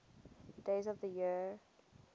days of the year